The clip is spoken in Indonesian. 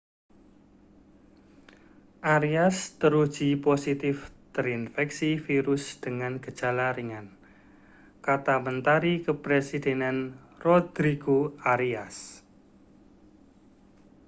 arias teruji positif terinfeksi virus dengan gejala ringan kata mentari kepresidenan rodrigo arias